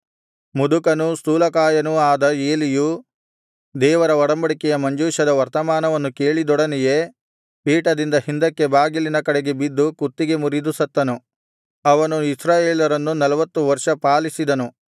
ಮುದುಕನೂ ಸ್ಥೂಲಕಾಯನೂ ಆದ ಏಲಿಯು ದೇವರ ಒಡಂಬಡಿಕೆಯ ಮಂಜೂಷದ ವರ್ತಮಾನವನ್ನು ಕೇಳಿದೊಡನೆಯೇ ಪೀಠದಿಂದ ಹಿಂದಕ್ಕೆ ಬಾಗಿಲಿನ ಕಡೆಗೆ ಬಿದ್ದು ಕುತ್ತಿಗೆ ಮುರಿದು ಸತ್ತನು ಅವನು ಇಸ್ರಾಯೇಲರನ್ನು ನಲ್ವತು ವರ್ಷ ಪಾಲಿಸಿದ್ದನು